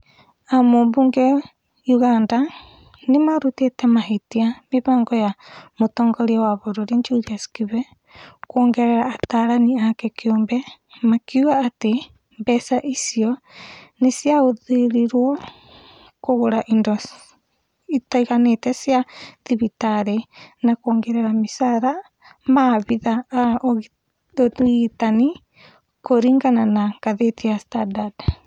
Ambunge a Uganda nĩmarutĩte mahĩtia mĩbango ya mũtongoria wa bũrũĩri Julius Kibe kuongerera atarani ake kĩumbe makiuga atĩ mbeca icio nocihũthĩrwo kũgũra indo itiganĩte cia thibitarĩ na kũongerera micara maabithaa a ũrigitani kũringana na ngathĩti ya Standard